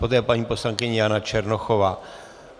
Poté paní poslankyně Jana Černochová.